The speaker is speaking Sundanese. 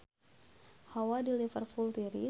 Hawa di Liverpool tiris